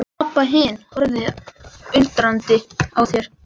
Abba hin horfði undrandi á þær.